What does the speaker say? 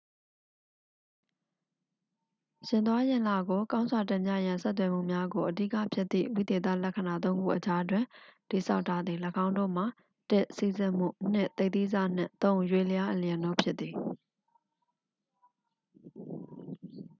ယာဉ်သွားယာဉ်လာကို ကောင်းစွာတင်ပြရန် ဆက်သွယ်မှုများကို အဓိကဖြစ်သည့် ဝိသေသလက္ခဏာ သုံးခုအကြားတွင် တည်ဆောက်ထားသည်- ၎င်းတို့မှာ ၁ စီးဆင်းမှု၊ ၂ သိပ်သည်းဆနှင့် ၃ ရွေ့လျားအလျင်တို့ဖြစ်သည်။